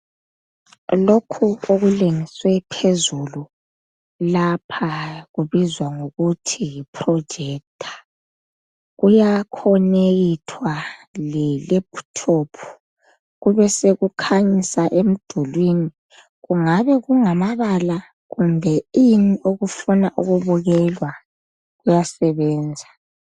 Lokhu okulengiswe phezulu lapha kubizwa ngokuthi yiprojector kuyakhonekithwa le laphuthophu kube sekukhanyisa emdulwini kungabe kungamabala kumbe ini okufunwa ukubukelwa kuyasebenza.